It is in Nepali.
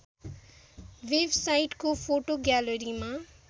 वेबसाइटको फोटो ग्यालरीमा